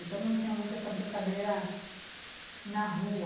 Então, não tinha muita essa brincadeira na rua.